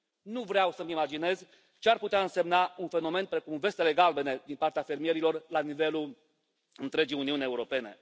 Nu vreau să îmi imaginez ce ar putea însemna un fenomen precum Vestele Galbene din partea fermierilor la nivelul întregii Uniuni Europene.